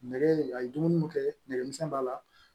Nɛgɛ a ye dumuni mun kɛ nɛgɛmisɛnnin b'a la